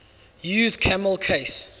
used camel case